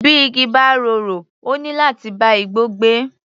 Bí igi bá rorò, ó níláti bá igbó gbé.